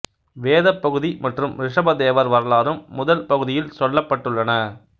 வேதப் பகுதி மற்றும் ரிசபதேவர் வரலாறும் முதல் பகுதியில் சொல்லப்பட்டுள்ளன